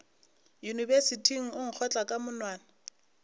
yunibesithing o nkgotla ka monwana